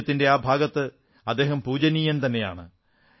രാജ്യത്തിന്റെ ആ ഭാഗത്ത് അദ്ദേഹം പൂജനീയൻ തന്നെയാണ്